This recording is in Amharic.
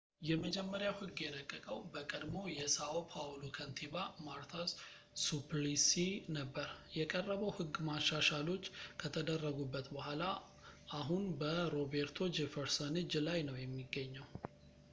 የመጀመሪያው ሕግ የረቀቀው በቀድሞው የsão paulo ከንቲባ marta suplicy ነበር። የቀረበው ሕግ፣ መሻሻሎች ከተደረጉበት በኋላ፣ አሁን በroberto jefferson እጅ ላይ ነው የሚገኘው